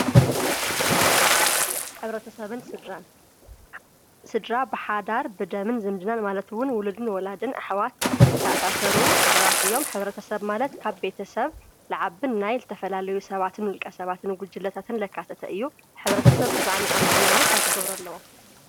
ሕብርተሰብን ስድራን ስድራ ብሓዳር ብደምን ዝምድናን ማለት ዉን ውልድን ወላድን ኣሕዋት ዝተኣሳሰሩ ሰባት እዮም። ሕብረተሰብ ማለት ካብ ቤተሰብ ዝዓቢ ናይ ዝተፈላለዩ ሰባትን ውልቀ ሰባትን ጉጅለታትን ዘከታተ እዩ። ሕብረተሰብ ተስማዕምዖም ንክነብሩ እንታይ ክገብሩ ኣለዎም?